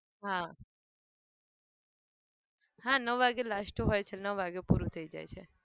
હા હા નવ વાગે last હોય છે નવ વાગે પૂરું થઈ જાય છે.